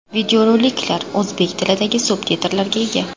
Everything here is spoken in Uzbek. Videorolik o‘zbek tilidagi subtitrlarga ega.